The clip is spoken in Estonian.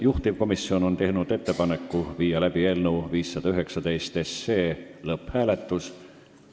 Juhtivkomisjon on teinud ettepaneku panna eelnõu 519 lõpphääletusele.